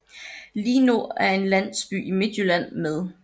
Linå er en landsby i Midtjylland med